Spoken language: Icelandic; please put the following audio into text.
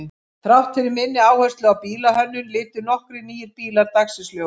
Þrátt fyrir minni áherslu á bílahönnun litu nokkrir nýir bílar dagsins ljós.